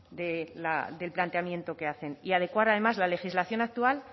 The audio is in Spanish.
del planteamiento que hacen y adecuar además la legislación actual